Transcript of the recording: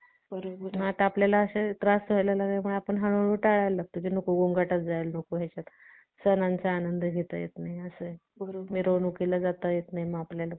मग आता आपल्याला त्रास व्हायला लागले तर आपण हळूहळू टाळायला लागतो की नको गोंगाट गोंगाट जायला नको हे असं सणांचा आनंद घेता येत नाही आणि असे आहे मिरवणुकीला जाता येत नाही मग आपल्याला